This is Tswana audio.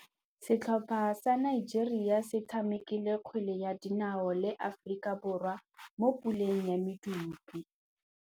Setlhopha sa Nigeria se tshamekile kgwele ya dinaô le Aforika Borwa mo puleng ya medupe.